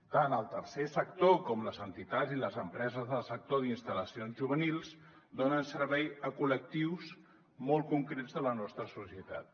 tant el tercer sector com les entitats i les empreses del sector d’instal·lacions juvenils donen servei a col·lectius molt concrets de la nostra societat